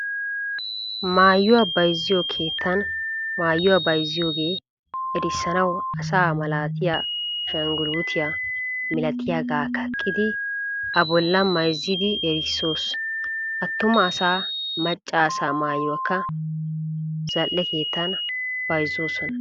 Maayuwaa bayzziyo keettan maayuwaa bayzziyoga erisanawu asa malatiya ashangulutiyaa milatiyaga kaqidi a bollan mayzzidi erisoos. Attuma asaa, macca asaa maayuwaakka maayuwaa zal'e keettan bayzzoosona.